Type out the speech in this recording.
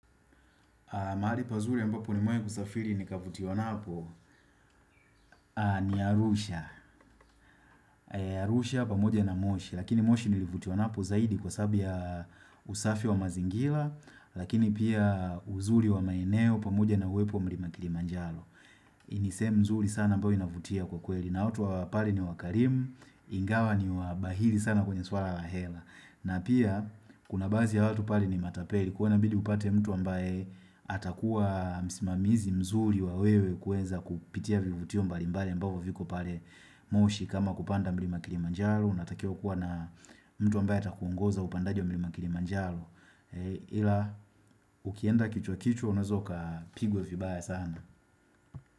Mahali pazuri ambapo nimewai kusafiri ni kavutiwa napo ni Arusha. Arusha pamoja na moshi. Lakini moshi nilivutiwa napo zaidi kwa sababu ya usafi wa mazingila. Lakini pia uzuri wa maeneo pamoja na uwepo wa mlima kili manjalo. Hii ni sehemu nzuri sana ambayo inavutia kwa kweli. Na watu wa pale ni wakarimu. Ingawa ni wabahili sana kwenye suala la hela. Na pia kuna baadhi ya watu pale ni matapeli. Kwa hio inabidi upate mtu ambaye atakuwa msimamizi mzuri wa wewe kuenza kupitia vivutio mbali mbali ambavo viko pale moshi kama kupanda mlima kili manjalo unatakiwa kuwa na mtu ambaye atakuongoza upandaji wa mlima kili manjalo ila ukienda kichwa kichwa unaeza uka pigwa vibaya sana.